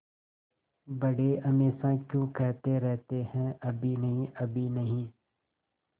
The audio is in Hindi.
बड़े हमेशा क्यों कहते रहते हैं अभी नहीं अभी नहीं